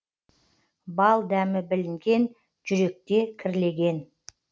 бал дәмі білінген жүректе кірлеген